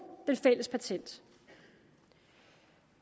det fælles patent